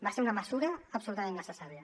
va ser una mesura absolutament necessària